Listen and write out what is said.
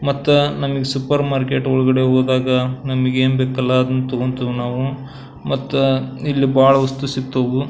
ಮತ್ತ ನಮಗೆ supermarket ಒಳಗಡೆ ಹೋದಾಗ ನಮಗೇನ್ ಬೇಕಲ್ಲ ಅದನ್ನ ತಗೋಂತಿವಿ ನಾವು ಮತ್ತ ಇಲ್ಲಿ ಬಹಳ ವಸ್ತು ಸಿಗ್ತವು.